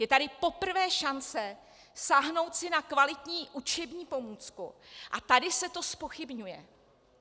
Je tady poprvé šance sáhnout si na kvalitní učební pomůcku, a tady se to zpochybňuje.